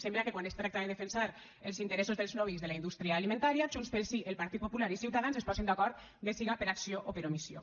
sembla que quan es tracta de defensar els interessos dels lobbys de la indústria alimentària junts pel sí el partit popular i ciutadans es posen d’acord bé siga per acció o per omissió